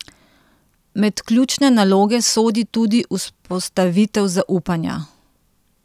Med ključne naloge sodi tudi vzpostavitev zaupanja.